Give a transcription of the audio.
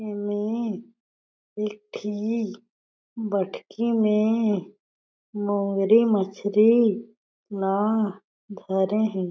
ईमे एक ठी बटकी में मोंगरी मछरी ला धरे हे।